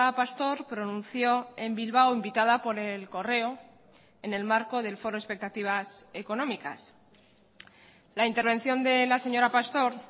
pastor pronunció en bilbao invitada por el correo en el marco del foro expectativas económicas la intervención de la señora pastor